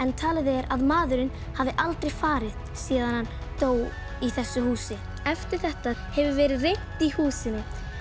talið er að maðurinn hafi aldrei farið síðan hann dó í þessu húsi eftir þetta hefur verið reimt í húsinu